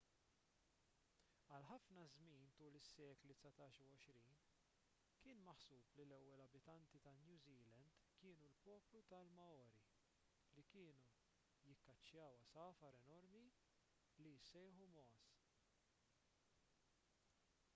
għal ħafna żmien tul is-sekli dsatax u għoxrin kien maħsub li l-ewwel abitanti ta' new zealand kienu l-poplu tal-maori li kienu jikkaċċjaw għasafar enormi li jissejħu moas